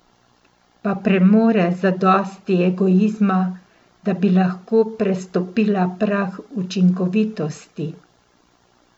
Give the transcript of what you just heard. Pa premore zadosti egoizma, da bi lahko prestopila prag učinkovitosti?